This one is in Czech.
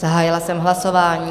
Zahájila jsem hlasování.